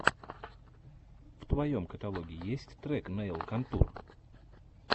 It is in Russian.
в твоем каталоге есть трек нэйл контур